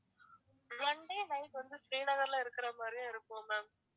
one day night வந்து ஸ்ரீநகர்ல இருக்கிறது மாதிரியும் இருக்கும் ma'am